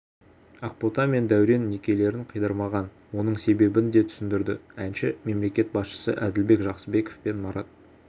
ақбота мен дәурен некелерін қидырмаған оның себебін де түсіндірді әнші мемлекет басшысы әділбек жақсыбеков пен марат